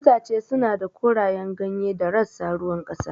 Itace suna da korayen ganye da rassa ruwan ƙasa.